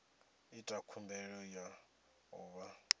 ita khumbelo ya u vha